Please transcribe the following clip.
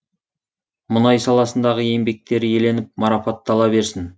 мұнай саласындағы еңбектері еленіп марапаттала берсін